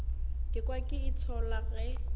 ka kwa ke itshola ge